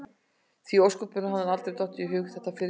Því í ósköpunum hafði honum aldrei dottið það fyrr í hug?